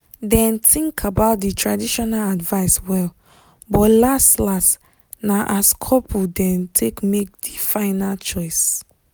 dem think about di traditional advice well but las-las na as couple dem take make di final choice.